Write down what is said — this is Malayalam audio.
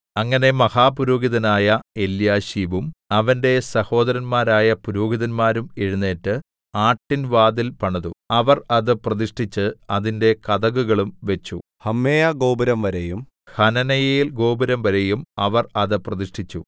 അങ്ങനെ മഹാപുരോഹിതനായ എല്യാശീബും അവന്റെ സഹോദരന്മാരായ പുരോഹിതന്മാരും എഴുന്നേറ്റ് ആട്ടിൻ വാതിൽ പണിതു അവർ അത് പ്രതിഷ്ഠിച്ച് അതിന്റെ കതകുകളും വച്ചു ഹമ്മേയാഗോപുരംവരെയും ഹനനയേൽഗോപുരംവരെയും അവർ അത് പ്രതിഷ്ഠിച്ചു